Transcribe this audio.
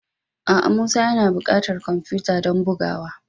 A'a. Musa yana bukatar kwamfuta don bugawa